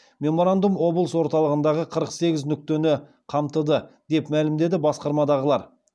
меморандум облыс орталығындағы қырық сегіз нүктені қамтыды деп мәлімдеді басқармадағылар